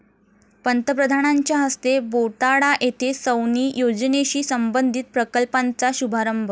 पंतप्रधानांच्या हस्ते बोटाडा येथे सौनी योजनेशी संबंधित प्रकल्पांचा शुभारंभ